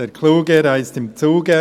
Also: «Der Kluge reist im Zuge».